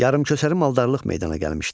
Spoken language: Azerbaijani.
Yarımköçəri maldarlıq meydana gəlmişdi.